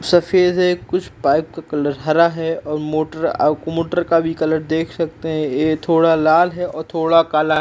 सफ़ेद है। कुछ बाइक का कलर हरा है और मोटर आउ मोटर का भी कलर देख सकते हैं ये थोड़ा लाल है और थोड़ा काला है।